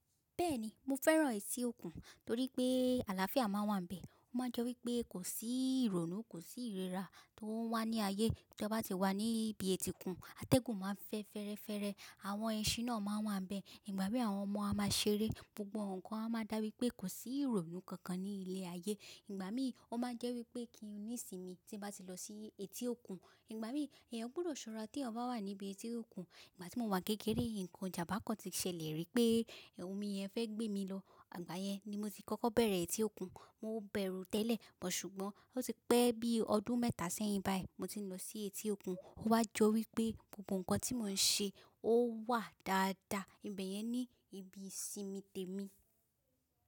Bẹ́ẹ̀ni, mo fẹ́ràn etí òkun torí pé àlàáfíà máa wà n bẹ̀. Ó má n jọ wí pé kò sí ìrònú, kò sí ìríra tó wà ní ayé. Tí a bá ti wà ní ibi etí òkun, atẹ́gùn máa ń fẹ́ fẹ́rẹ́fẹ́rẹ́, àwọn ẹṣin náà máa n wà níbẹ̀. Ìgbà mí àwọn ọmọ a máa ṣeré, gbogbo ǹkan a máa dà wí pé kò sí ìrònú kankan ní ilẹ̀ ayé. Ìgbà mí ó máa n jẹ́ wí pé kí n ní ìsinmi tí n bá ti lọ sí etí òkun. Ìgbà mí ẹ̀yàn gbọdọ̀ ṣọ́ra tí eyan bá wà níbi etí òkun. Ìgbà tí mo wà n kékeré nǹkan ìjàmbá kan tí ṣẹlẹ̀ rí pé omi yẹn fẹ́ gbé mi lọ, ìgbà yẹn ni mo ti kọ́kọ́ bẹ̀rẹ̀ etí òkun. Mo bẹ̀rù ú tẹ́lẹ̀, ṣùgbọ́n ó ti pẹ́ bí ọdún mẹ́ta sẹ́yìn báyìí mo ti ń lọ sí etí òkun. Ó wá jọ wí pé gbogbo ǹkan tí mò ń ṣe ó wà dáadáa. Ìbẹ̀ yẹn ni ibi ìsinmi tèmi.